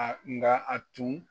nka a tun